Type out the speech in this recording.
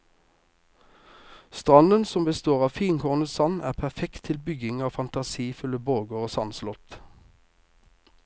Stranden som består av finkornet sand er perfekt til bygging av fantasifulle borger og sandslott.